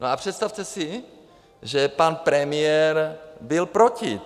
No a představte si, že pan premiér byl proti.